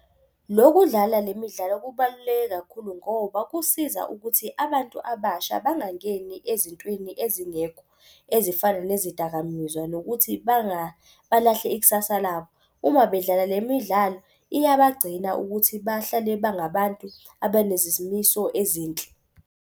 Lokudlala le midlalo kubaluleke kakhulu ngoba kusiza ukuthi abantu abasha bangangeni ezintweni ezingekho. Ezifana nezidakamizwa nokuthi balahle ikusasa labo. Uma bedlala le midlalo iyabagcina ukuthi bahlale bangabantu ezinhle.